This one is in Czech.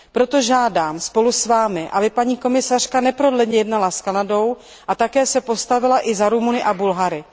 Proto žádám spolu s vámi, aby paní komisařka neprodleně jednala s Kanadou a také se postavila za Rumuny a Bulhary.